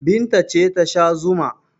Binta ce ta sha zuma.